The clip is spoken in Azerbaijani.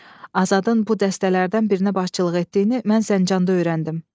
Azadın bu dəstələrdən birinə başçılıq etdiyini mən Zəncanda öyrəndim.